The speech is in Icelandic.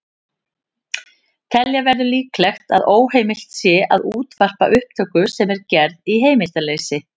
Telja verður líklegt að óheimilt sé að útvarpa upptöku sem er gerð í heimildarleysi.